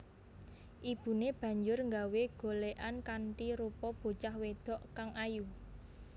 Ibuné banjur nggawé golékan kanthi rupa bocah wedok kang ayu